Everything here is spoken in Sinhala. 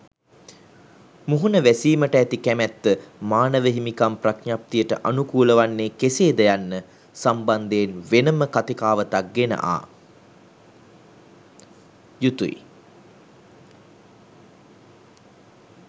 මුහුණ වැසීමට ඇති කැමැත්ත මානව හිමිකම් ප්‍රඥප්තියට අනුකූල වන්නේ කෙසේද යන්න සම්බන්ධයෙන් වෙනම කතිකාවතක් ගෙන ආ යුතුයි.